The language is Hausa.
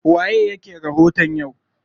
Waye yake rahoton yau?